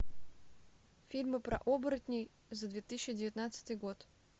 фильмы про оборотней за две тысячи девятнадцатый год